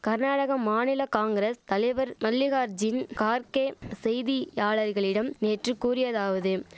கர்நாடக மாநில காங்கிரஸ் தலைவர் மல்லிகார்ஜின் கார்க்கே செய்தியாளர்களிடம் நேற்று கூறியதாவதும்